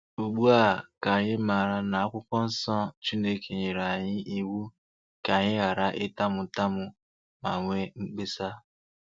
Ugbu a ka anyị maara na n'Akwụkwọ Nsọ Chineke nyere anyị iwu ka anyị ghara ịtamu ntamu ma nwee mkpesa.